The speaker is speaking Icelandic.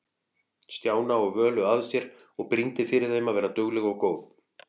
Stjána og Völu að sér og brýndi fyrir þeim að vera dugleg og góð.